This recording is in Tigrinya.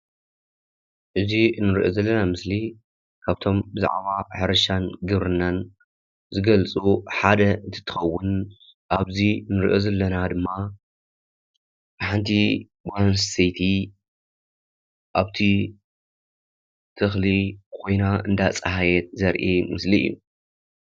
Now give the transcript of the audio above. እዚ እንሪኦ ዘለና ምስሊ ካብቶም ብዛዕባ ሕርሻን ግብርናን ዝገልፁ ሓደ እንትትከውን ኣብዚ ንሪኦ ዘለና ድማ ሓንቲ ጓል ኣንስተይቲ ኣብቲ ተኽሊ ኾይና እንዳፀሃየት ዘርኢ ምስሊ እዩ፡፡